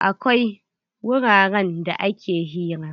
Akwai wuraren da ake hira.